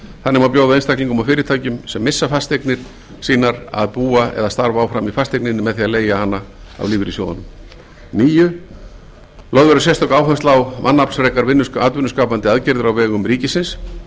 þannig má bjóða einstaklingum og fyrirtækjum sem missa fasteignir sínar að búa eða starfa áfram í fasteigninni með því að leigja hana af lífeyrissjóðunum níundi lögð verði sérstök áhersla á mannaflsfrekar atvinnuskapandi aðgerðir á vegum ríkisins